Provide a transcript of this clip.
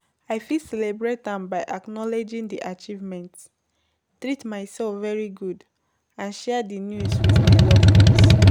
I fit celebrate am by acknowledging di achievements, treat myself very good and share di news with my loved ones.